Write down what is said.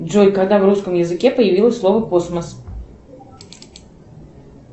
джой когда в русском языке появилось слово космос